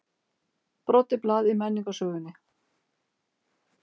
Brotið blað í menningarsögunni